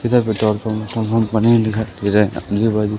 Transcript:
इधर petrol pump दिखाई दे रहा आजू बाजु--